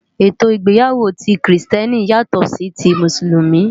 Étó igbéyàwó ti Kristièní yátò si ti Músúlùmí